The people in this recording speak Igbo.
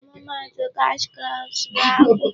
Ọmụma atụ cash crops bụ akwụ.